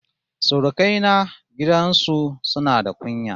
Surukai na gidan su suna da kunya